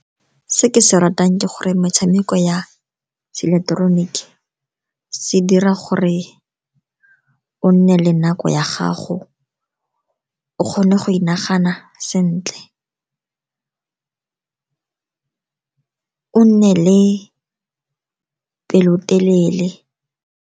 Se ke se ratang ke gore metshameko ya se ileketeroniki se dira gore o nne le nako ya gago, o kgone go inagana sentle, o nne le pelotelele.